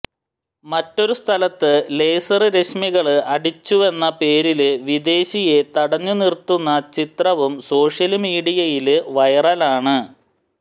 മറ്റൊരു സ്ഥലത്ത് ലേസര് രശ്മികള് അടിച്ചുവെന്ന പേരില് വിദേശിയെ തടഞ്ഞുനിര്ത്തുന്ന ചിത്രവും സോഷ്യല്മീഡിയയില് െവെറലാണ്